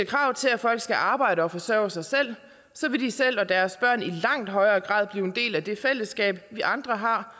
krav til at folk skal arbejde og forsørge sig selv så vil de selv og deres børn i langt højere grad bliver en del af det fællesskab vi andre har